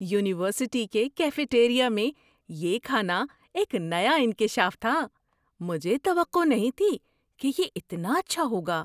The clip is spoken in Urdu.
یونیورسٹی کے کیفے ٹیریا میں یہ کھانا ایک نیا انکشاف تھا۔ مجھے توقع نہیں تھی کہ یہ اتنا اچھا ہوگا۔